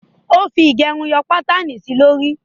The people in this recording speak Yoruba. Ó fi ìgẹrun yọ pátànì sí lórí